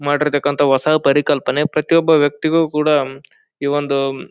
ಮಾಡಿರ್ತಕಂತ ಹೊಸ ಪರಿಕಲ್ಪನೆ ಪ್ರತಿ ಒಂದು ವ್ಯಕ್ತಿಕೂಡ ಈ ಒಂದು--